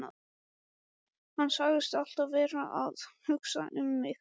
Hann sagðist alltaf vera að hugsa um mig.